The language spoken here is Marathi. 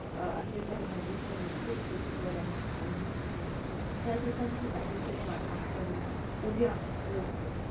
अं असले तरी भविष्य निश्चित उज्वल आहे आणि ही त्या दिवसांची आतुरतेने वाट पाहतो आणि उद्या मोजतो